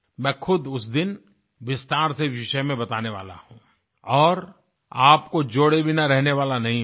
मैं खुद उस दिन विस्तार से विषय में बताने वाला हूँ और आपको जोड़े बिना रहने वाला नहीं हूँ